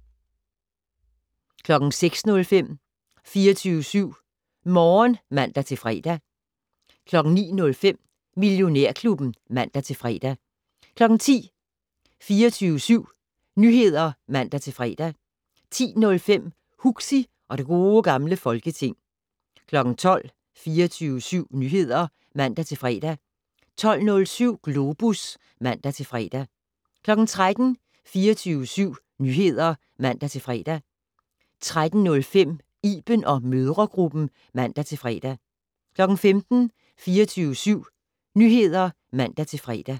05:05: Natpodden *(man og -søn) 06:05: 24syv Morgen (man-fre) 09:05: Millionærklubben (man-fre) 10:00: 24syv Nyheder (man-fre) 10:05: Huxi og det gode gamle Folketing 12:00: 24syv Nyheder (man-fre) 12:07: Globus (man-fre) 13:00: 24syv Nyheder (man-fre) 13:05: Iben & mødregruppen (man-fre) 15:00: 24syv Nyheder (man-fre)